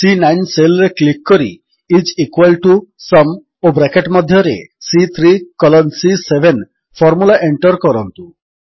ସି9 cell ରେ click କରି IS equal to sum ଓ ବ୍ରାକେଟ୍ ମଧ୍ୟରେ ସି3 କଲନ୍ ସି7 ଫର୍ମୁଲା ଏଣ୍ଟର୍ କରନ୍ତୁ